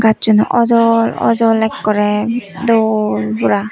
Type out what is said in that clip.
gassuno awjol awjol ekkorey dol pura.